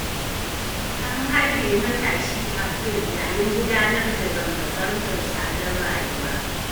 An harbe matashi Abdul yayin gudanar da zanga-zangar tsadar rayuwa.